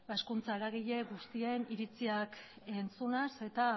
hezkuntza eragile guztien iritziak entzunaz eta